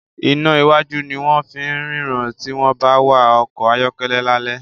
iná wájú ní wón fín ríran tí wón bá wá ọkọ̀ ayọ́kẹ́lẹ́ lale